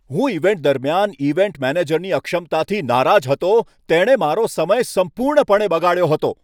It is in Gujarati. હું ઇવેન્ટ દરમિયાન ઇવેન્ટ મેનેજરની અક્ષમતાથી નારાજ હતો, જેણે મારો સમય સંપૂર્ણપણે બગાડ્યો હતો.